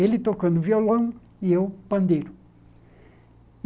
Ele tocando violão e eu pandeiro.